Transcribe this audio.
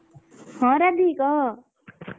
ହଁ ରାଧୀ କହ।